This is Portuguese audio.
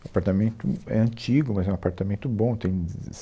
O apartamento é antigo, mas é um apartamento bom. Tem